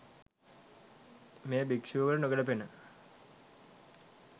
මෙය භික්‍ෂුවකට නොගැලපෙන